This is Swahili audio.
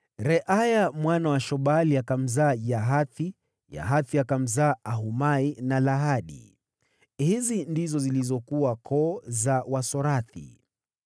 Reaya mwana wa Shobali akamzaa Yahathi, Yahathi akawazaa Ahumai na Lahadi. Hizi ndizo zilizokuwa koo za Wasorathi.